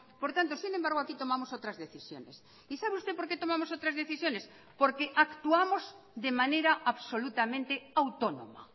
por tanto sin embargo aquí tomamos otras decisiones y sabe usted por qué tomamos otras decisiones porque actuamos de manera absolutamente autónoma